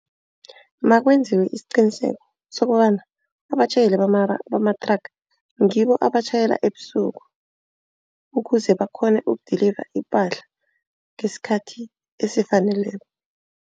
Makwenziwe isiqiniseko sokobana abatjhayeli bamathraga ngibo abatjhayela ebusuku. Ukuze bakghone uku-deliver ipahla ngesikhathi esifaneleko.